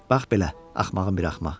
Bax belə, axmağın bir axmaq.